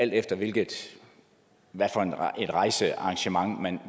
alt efter hvilket rejsearrangement man